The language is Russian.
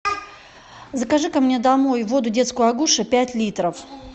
закажи ка мне домой воду детскую агуша пять литров